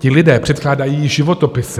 Ti lidé předkládají životopisy.